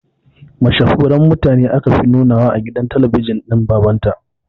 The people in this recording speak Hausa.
Mashahuran mutane aka fi nunawa a gidan talabijin din baban ta